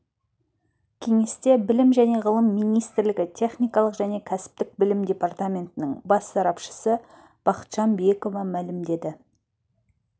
кеңесте білім және ғылым министрлігі техникалық және кәсіптік білім департаментінің бас сарапшысы бақытжан биекова мәлім